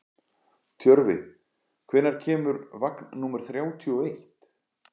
Tjörfi, hvenær kemur vagn númer þrjátíu og eitt?